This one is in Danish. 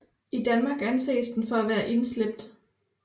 I Danmark anses den for at være indslæbt